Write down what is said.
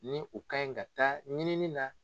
Ni u kaɲi ka taa ɲinini na